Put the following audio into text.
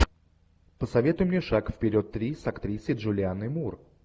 посоветуй мне шаг вперед три с актрисой джулианной мур